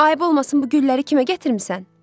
Ayıb olmasın bu gülləri kimə gətirmisən?